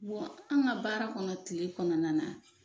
Bɔn an ka baara kɔnɔ, tile kɔnɔna na